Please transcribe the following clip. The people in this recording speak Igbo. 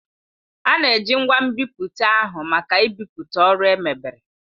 A na-eji ngwa nbipute ahụ maka ibipụta ọrụ emebere.